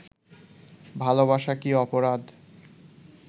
ভালোবাসা কি অপরাধ